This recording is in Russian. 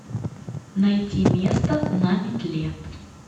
найти место на метле